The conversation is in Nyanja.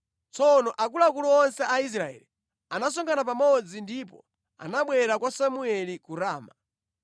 Tsono akuluakulu onse a Israeli anasonkhana pamodzi ndipo anabwera kwa Samueli ku Rama.